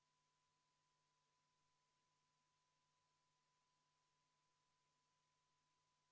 Vaatame praegu läbi hommikuse värskuse ja värske peaga muudatusettepaneku nr 1, mille on esitanud keskkonnakomisjon ja mida juhtivkomisjon on arvestanud täielikult.